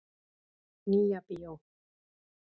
Nýja bíó.